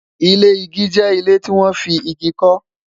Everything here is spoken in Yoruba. ilé ìgi jẹ ilé tí wọn fí ìgi ko